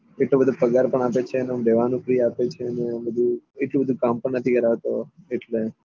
એટલો બધો પગાર પણ આપે છે અને રેહવાનું પણ આપે છે ને આ બધું એટલું બધું કામ ભી નથી કરાવતો એટલે